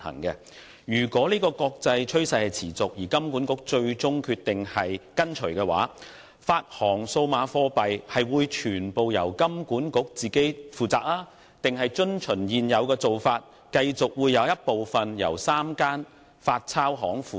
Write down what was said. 如果國際上持續這個趨勢，而金管局最終決定跟隨，發行數碼貨幣會全權由金管局負責，還是遵從現有做法，繼續有部分由3間發鈔銀行負責？